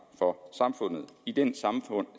for samfundet i den